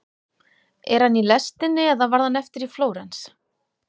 Er hann í lestinni eða varð hann eftir í Flórens?